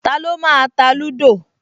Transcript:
Taló máa ta lúdò?